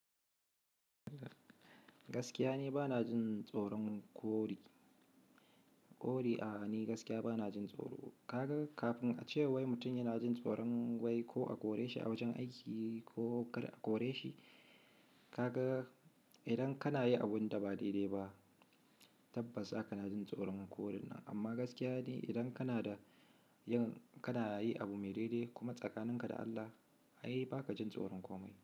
Gaskiya ne bana jin tsoron kori, kori a'a ni gaskiya bana jin tsoro. Kaga kafin a ce wai mutum yana jin tsoron wai ko a kore shi a wajen aiki ko a kore shi, kaga idan kana yi abun da ba daidai ba tabbas za kana jin tsoron korin nan. Amma gaskiya dai idan kana da, yan kana yi abu mai daidai kuma tsakaninka da Allah, ai ba ka jin tsoron komai.